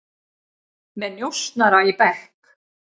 Með njósnara í bekk